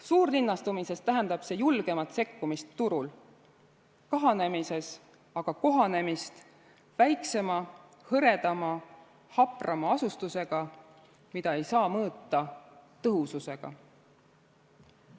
Suurlinnastumises tähendab see julgemat sekkumist turul, kahanemises aga kohanemist väiksema, hõredama, haprama asustusega, mida ei saa mõõta tõhususega.